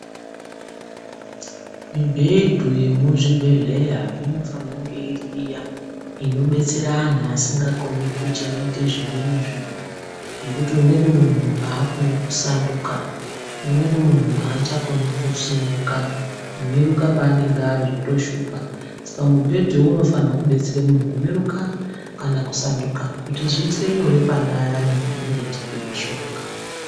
Mibhedhu yemuzvibhedhleya inifanire kunge iri iya inodetsera antu asingakoni kuchaite zvimweni zviro ngekuti umweni muntu akoni kusanduka umweni aachakoni kusimuka kumuruka paanenge ari zvotoshupa saka mubhedhu uyu unofanirwa kudetsera muntu kumuruka kana kusanduka kuti zviitire nyore pane ayani anenge achipe mishonga.